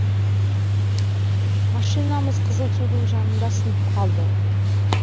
машинамыз қызылсудың жанында сынып қалды